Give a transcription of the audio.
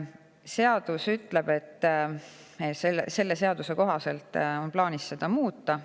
Selle kohaselt on plaanis seda muuta.